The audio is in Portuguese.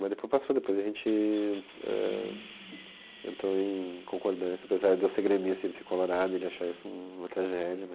Mas depois passou, depois a gente ãh entrou em concordância, apesar de eu ser gremista e ele ser colorado, ele achar isso uma tragédia.